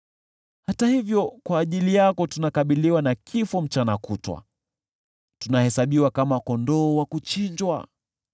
Hata hivyo kwa ajili yako tunauawa mchana kutwa; tumehesabiwa kama kondoo wa kuchinjwa.